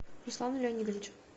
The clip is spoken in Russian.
руслану леонидовичу